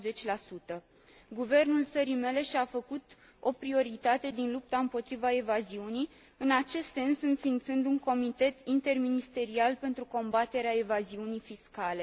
40. Guvernul țării mele și a făcut o prioritate din lupta împotriva evaziunii, în acest sens înființând un comitet interministerial pentru combaterea evaziunii fiscale.